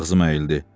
Ağzım əyildi.